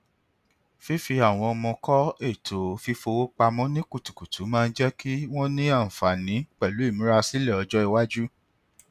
fífi àwọn ọmọ kọ ètò fífowó pamọ ní kutukutu máa ń jẹ kí wọn ní àǹfààní pẹlú ìmúrasílẹ ọjọ iwájú